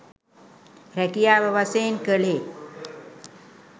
රැකියාව වශයෙන් කළේ